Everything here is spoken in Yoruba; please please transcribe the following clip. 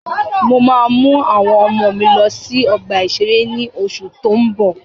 Mo ma mú àwọn ọmọ lọ sí ọgbà-ìṣeré ní oṣù tó ń bọ̀